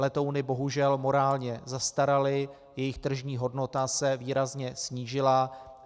Letouny bohužel morálně zastaraly, jejich tržní hodnota se výrazně snížila.